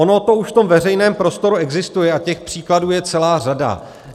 Ono to už v tom veřejném prostoru existuje a těch příkladů je celá řada.